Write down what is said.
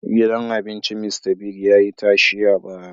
Gidan abincin Mista Bigs ya yi tashe a baya